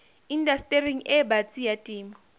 indastering e batsi ya temo